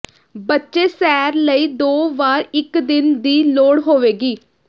ਬੱਚੇ ਸੈਰ ਲਈ ਦੋ ਵਾਰ ਇੱਕ ਦਿਨ ਦੀ ਲੋੜ ਹੋਵੇਗੀ